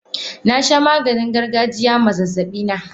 Nasha Maganin gargajiya ma zazzabina.